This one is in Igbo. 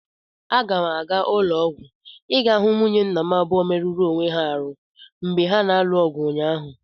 Aga m aga ụlọ ọgwụ ịga hụ nwunye nna m abụọ merụrụ onwe ha arụ mgba ha na-alụ ọgụ ụnyaahụ.